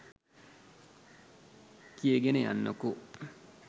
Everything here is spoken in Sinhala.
කියගෙන යන්නකො